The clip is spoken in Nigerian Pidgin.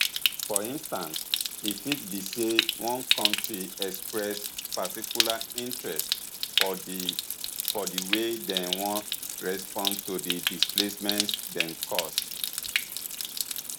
for instance e fit be say one kontri express particular interest for di for di way dem wan respond to di displacement dem cause